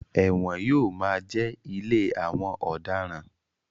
Ẹ̀wọ̀n yóò máa jẹ́ ilé àwọn ọ̀daràn.